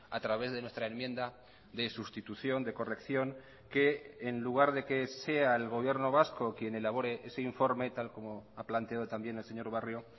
a través de nuestra enmienda de sustitución de corrección que en lugar de que sea el gobierno vasco quien elabore ese informe tal como ha planteado también el señor barrio